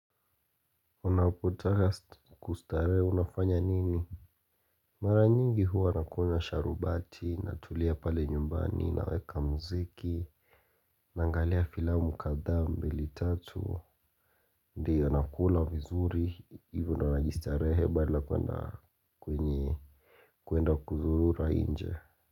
Unapotaka kustarehe unafanya nini? Mara nyingi huwa nakunywa sharubati, natulia pale nyumbani, naweka muziki, naangalia filamu kadhaa mbili tatu, ndiyo nakula vizuri, hivo ndio na najistarehe pale bana lakini kuenda kuzurura nje.